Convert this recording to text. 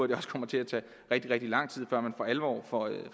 det også kommer til at tage rigtig rigtig lang tid før man for alvor